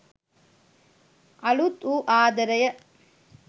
අලුත් වූ ආදරය